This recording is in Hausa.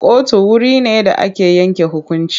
Kotu wure ne da ake yanke hukunci.